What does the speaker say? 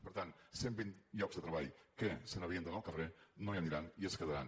per tant cent vint llocs de treball que se n’havien d’anar al carrer no hi aniran i es quedaran